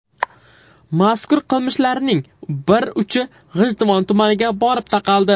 Mazkur qilmishlarning bir uchi G‘ijduvon tumaniga borib taqaldi.